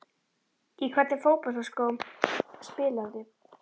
Í hvernig fótboltaskóm spilarðu?